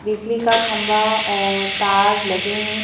बिजली का खंबा और तार लगे हैं।